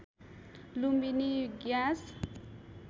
Lumbini gas